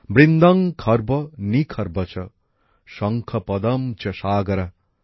বৃন্দং খর্ব নিখর্বঃ চ শঙ্খঃ পদমঃ চ সাগরঃ